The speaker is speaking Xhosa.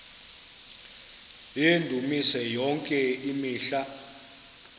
yendumiso yonke imihla